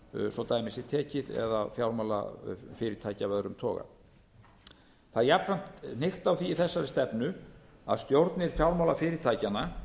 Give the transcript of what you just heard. svo dæmi sé tekið eða fjármálafyrirtæki af öðrum toga það er jafnframt hnykkt á því í þessari stefnu að stjórnir fjármálafyrirtækjanna